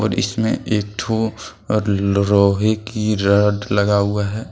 और इसमें एक ठो लोहे की रॉड लगा हुआ है।